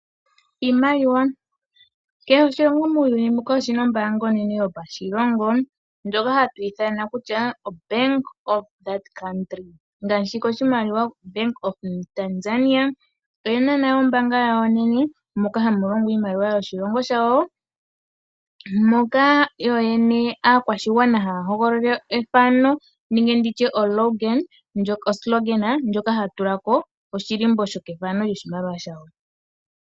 Iimaliwa, kehe oshilongo muuyuni mbuka oshina ombaanga onene yo pashilongo ndjoka hatu ithana kutya Ombaanga yoshilongo shoka. Ngaashi koshimaliwa shombaanga yaTanzania oyena nayo ombaanga yawo onene moka hamu longwa iimaliwa yoshilongo shawo. Moka yo yene aakwashigwana haya hogololela ethano nenge nditye eyityo ndyoka hatu tulako oshilimbo shokethano lyoshimaliwa shawo.